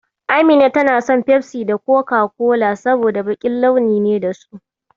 Amina tana son Fefsi da Koka-kola, saboda baƙin launi ne da su.